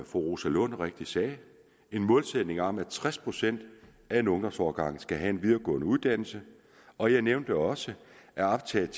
fru rosa lund rigtigt sagde en målsætning om at tres procent af en ungdomsårgang skal have en videregående uddannelse og jeg nævnte også at optaget